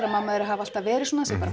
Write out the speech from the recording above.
að mamma þeirra hafi alltaf verið svona